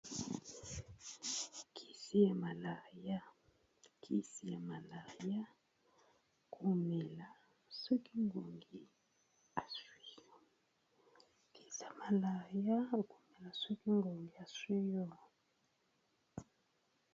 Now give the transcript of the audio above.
Kisi ya malaria kisi ya malaria komela soki ngungi asuwi yo, kisi ya malaria komela soki ngungi asuwi yo.